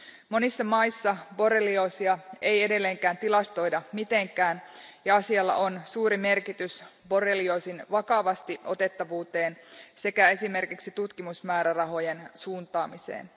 Monissa maissa borrelioosia ei edelleenkään tilastoida mitenkään ja asialla on suuri merkitys borrelioosin vakavasti otettavuuteen sekä esimerkiksi tutkimusmäärärahojen suuntaamiseen.